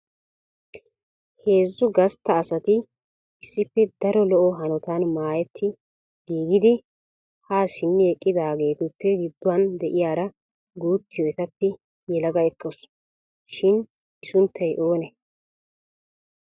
Heezzu gastta asati issippe daro lo"o hanotan maayyetti giigidi ha simmi eqqidaageetuppe gidduwaan de'iyaara guuttiyo etappe yalaga ekkawusu. Shim I sunttay oonee?